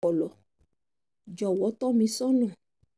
ọ̀pọlọ jọ̀wọ́ tọ́ mi sọ́nà